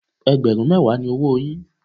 Ẹgbẹ̀rún mẹ́wàá ni owóo yín.